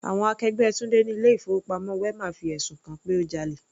Àwọn akẹgbẹ́ Tunde ni ilé ìfowópamọ́ wema fi ẹ̀sùn kan-an pé ó jalè.